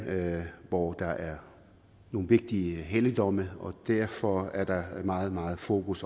hvor der er nogle vigtige helligdomme og derfor er der meget meget fokus